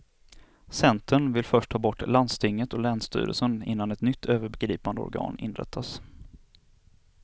Centern vill först ha bort landstinget och länsstyrelsen innan ett nytt övergripande organ inrättas.